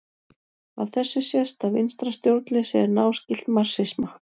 Af þessu sést að vinstra stjórnleysi er náskylt marxisma.